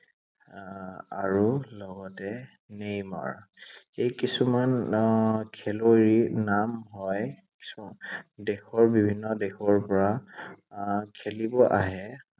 আহ আৰু লগতে নেইমাৰ। এই কিছুমান আহ খেলুৱৈৰ নাম লৈ দেশৰ বিভিন্ন দেশৰ পৰা আহ খেলিব আহে।